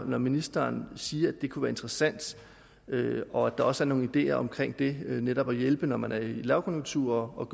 ministeren siger at det kunne være interessant og at der også er nogle ideer omkring det netop at hjælpe når man er i lavkonjunktur og